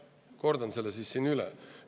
Kordan selle siis üle.